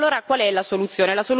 E allora qual è la soluzione?